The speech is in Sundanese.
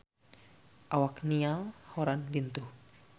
Awak Niall Horran lintuh